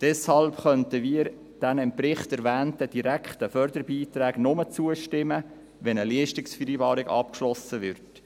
Deshalb könnten wir den im Bericht erwähnten direkten Förderbeiträgen nur dann zustimmen, wenn eine Leistungsvereinbarung abgeschlossen wird.